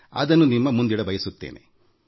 ಅದನ್ನು ನಿಮ್ಮೊಂದಿಗೆ ಹಂಚಿಕೊಳ್ಳಬಯಸುತ್ತೇನೆ